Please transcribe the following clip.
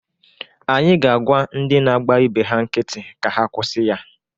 Anyị ga-agwa ndị na-agba ibe ha nkiti ka ha kwusi ya.